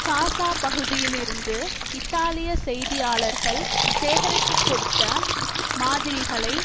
காசா பகுதியிலிருந்து இத்தாலிய செய்தியாளர்கள் சேகரித்து கொடுத்த மாதிரிகளை